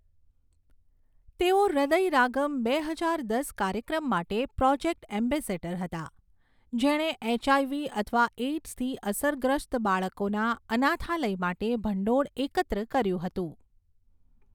તેઓ હૃદયરાગમ બે હજાર દસ કાર્યક્રમ માટે પ્રોજેક્ટ એમ્બેસેડર હતા, જેણે એચઆઇવી અથવા એઇડ્સથી અસરગ્રસ્ત બાળકોના અનાથાલય માટે ભંડોળ એકત્ર કર્યું હતું.